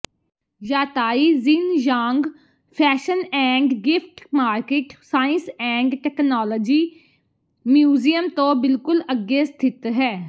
Yatai Xinyang fashion and gift market science and technology museum ਤੋਂ ਬਿਲਕੁਲ ਅੱਗੇ ਸਥਿਤ ਹੈ